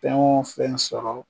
Fɛn o fɛn sɔrɔ